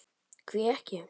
Hví ekki?